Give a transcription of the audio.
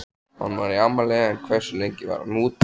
Hann var í afmæli en hversu lengi var hann úti?